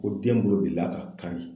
Ko bolo bi d'a kan.